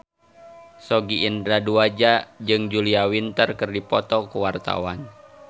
Sogi Indra Duaja jeung Julia Winter keur dipoto ku wartawan